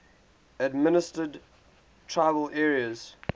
administered tribal areas